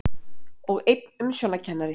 Og einn umsjónarkennari.